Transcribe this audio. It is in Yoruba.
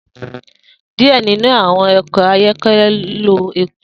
Diẹ ninu awọn ọkọ ayọkẹlẹ lo epo.